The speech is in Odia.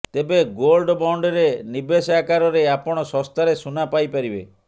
ତେବେ ଗୋଲ୍ଡ ବଣ୍ଡରେ ନିବେଶ ଆକାରରେ ଆପଣ ଶସ୍ତାରେ ସୁନା ପାଇପାରିବେ